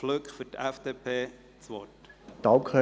Flück für die FDP-Fraktion das Wort.